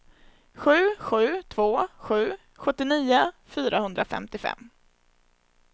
sju sju två sju sjuttionio fyrahundrafemtiofem